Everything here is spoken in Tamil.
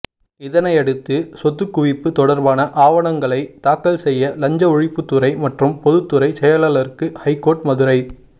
இதனையடுத்து சொத்து குவிப்பு தொடர்பான ஆவணங்களை தாக்கல் செய்ய லஞ்ச ஒழிப்புத்துறை மற்றும் பொதுத்துறை செயலாளருக்கு ஐகோர்ட் மதுரை